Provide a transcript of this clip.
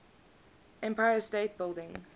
empire state building